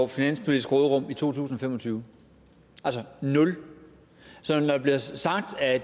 finanspolitiske råderum i to tusind og fem og tyve altså nul så når der bliver sagt at